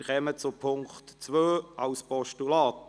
Wir kommen zu Punkt 2 als Postulat.